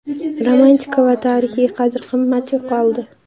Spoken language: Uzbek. Romantika va tarixiy qadr-qimmat yo‘qoldi.